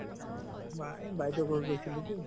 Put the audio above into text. বা এই বাইদেউৰ ঘৰত গৈছিলো তো